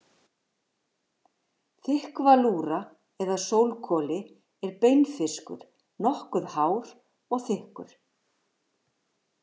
Þykkvalúra eða sólkoli er beinfiskur, nokkuð hár og þykkur.